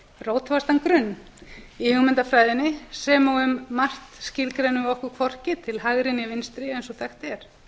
fjármálaráðherra rótfastan grunn í hugmyndafræðinni sem og um margt skilgreinum við okkur hvorki til hægri né vinstri eins og þekkt er